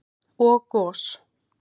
og gos.